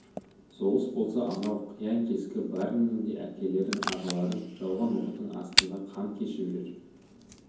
соғыс болса анау қиян-кескі бәріңнің де әкелерің ағаларың жауған оқтың астында қан кешіп жүр